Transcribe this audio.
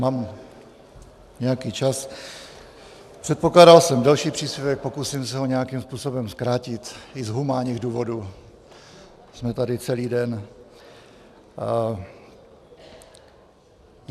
Mám nějaký čas, předpokládal jsem delší příspěvek, pokusím se ho nějakým způsobem zkrátit i z humánních důvodů, jsme tady celý den.